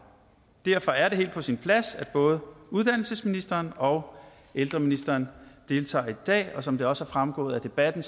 derfor er det helt på sin plads at både uddannelsesministeren og ældreministeren deltager i dag og som det også er fremgået af debatten